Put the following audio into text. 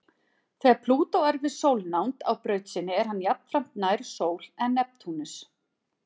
Þegar Plútó er við sólnánd á braut sinni er hann jafnframt nær sól en Neptúnus.